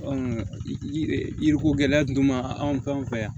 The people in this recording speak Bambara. yiriko gɛlɛya dun ma anw fe yan